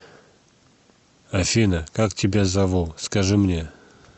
афина как тебя зову скажи мне